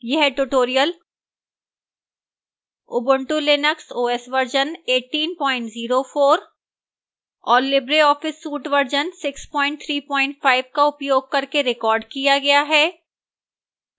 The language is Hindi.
यह tutorial ubuntu linux os version 1804 और libreoffice suite वर्जन 635 का उपयोग करके recorded किया गया है